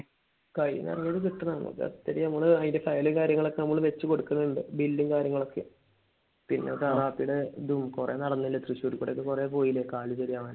കയ്യിന്ന് ഇറങ്ങിയത് കിട്ടണം. അത് അത്രയും നമ്മൾ അതിന്റെ file ഉം കാര്യങ്ങളും ഒക്കെ വെച്ച് കൊടുക്കണിണ്ട്. bill ഉം കാര്യങ്ങളും ഒക്കെ. പിന്നെ ഇതും കൊറേ നടന്നില്ല തൃശൂർ കൂടെ ഒക്കെ കൊറേ പോയില്ലേ കാൽ ശരിയാവാൻ.